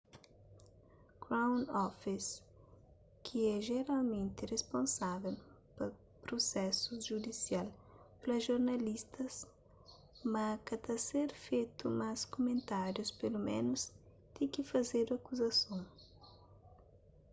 crown office ki é jeralmenti risponsável pa prusésus judisial fla jornalistas ma ka ta ser fetu más kumentárius peloménus ti ki fazedu akuzason